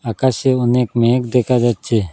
আকাশে অনেক মেঘ দেখা যাচ্ছে।